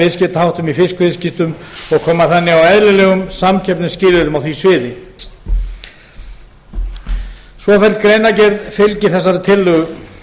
viðskiptaháttum í fiskviðskiptum og koma þannig á eðlilegum samkeppnisskilyrðum á því sviði svofelld greinargerð fylgir þessari tillögu